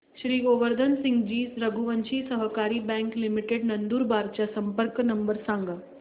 श्री गोवर्धन सिंगजी रघुवंशी सहकारी bank limited Nandurbar चा संपर्क नंबर सांगा